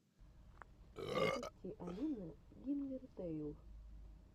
запусти алина гингертэйл